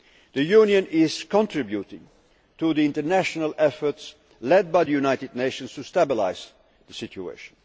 The Union is contributing to the international efforts led by the United Nations to stabilise the situation.